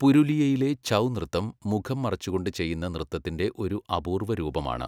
പുരുലിയയിലെ ഛൗ നൃത്തം മുഖം മറച്ചുകൊണ്ട് ചെയ്യുന്ന നൃത്തത്തിൻ്റെ ഒരു അപൂർവ്വ രൂപമാണ്.